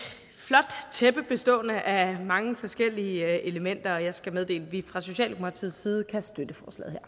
flot tæppe bestående af mange forskellige elementer og jeg skal meddele at vi fra socialdemokratiets side kan støtte